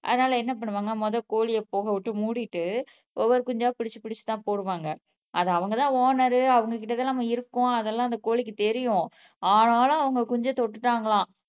அதனால என்ன பண்ணுவாங்க முதல் கோழிய போகவிட்டு மூடிட்டு ஒவ்வொரு குஞ்சா புடிச்சி புடிச்கி தான் போடுவாங்க அது அவங்க தான் ஒனர் அவங்ககிட்ட தான் இருக்கோம் அந்த கோழிக்கு தெரியும் ஆனாலும் அவங்க குஞ்ச தொட்டுட்டாங்கலாம்